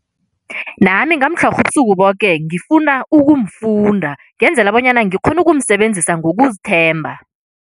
Nami ngamtlhorha ubusuku boke ngifuna ukumfunda ngenzela bonyana ngikghone ukumsebenzisa ngokuzithemba.